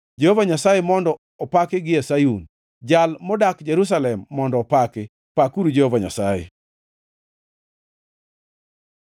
Jehova Nyasaye mondo opaki gie Sayun, Jal modak Jerusalem mondo opaki. Pakuru Jehova Nyasaye!